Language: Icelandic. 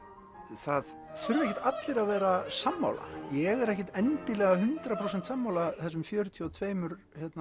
það þurfa ekkert allir að vera sammála ég er ekkert endilega hundrað prósent sammála þessum fjörutíu og tveimur